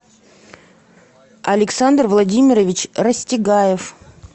александр владимирович растягаев